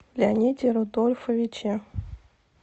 леониде рудольфовиче